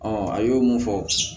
a y'o mun fɔ